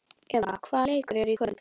Eva, hvaða leikir eru í kvöld?